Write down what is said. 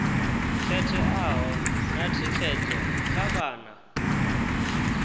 khetheaho na thikedzo kha vhana